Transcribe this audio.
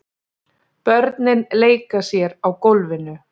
Börnin leika sér á gólfinu.